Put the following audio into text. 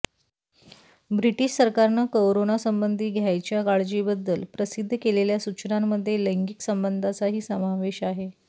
British सरकारनं corona संबंधी घ्यायच्या काळजींबद्दल प्रसिद्ध केलेल्या सूचनांमध्ये लैंगिक संबंधांचाही समावेश आहे